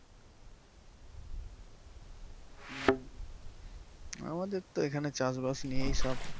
উম আমাদের তো এখানে চাষ বাস নিয়েই সব।